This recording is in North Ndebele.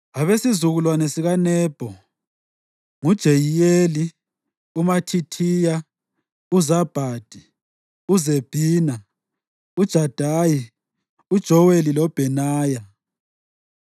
Abesizukulwane sikaNebho: nguJeyiyeli, uMathithiya, uZabhadi, uZebhina, uJadayi, uJoweli loBhenaya.